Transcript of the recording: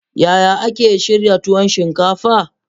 Yaya ake shirya tuwon shinkafa?